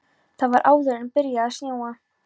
Það var áður en byrjaði að snjóa.